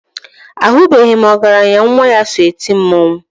Ahụbeghị m ọgaranya nwa ya so eti mmọnwụ.